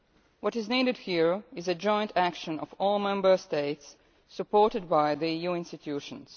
What is needed here is joint action by all Member States, supported by the EU institutions.